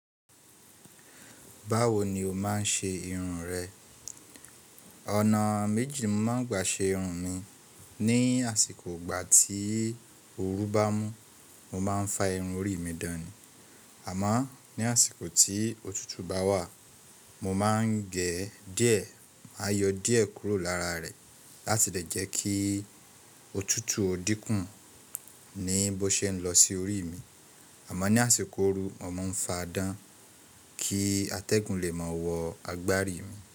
Báwo ni o máa ń ṣe irun rẹ? Ọ̀nà méjì mo máa ń gbà ṣe irun mi. Ni àsìkò ìgbà tí ooru bá mú, mo máa ń fa irun orí mi dàn ni, àmo ní àsìkò tí òtútù bá wà, mo máa ń gẹ̀ díẹ̀, máa yọ díẹ̀ kúrò lára rẹ̀ láti lè jẹ́ kí òtútù ó dínkù ní bó ṣe ń lọ sí orí mi. Àmo ní àsìkò ooru mo máa ń fa dàn kí atẹ́gùn lè máa wọ agbári mi.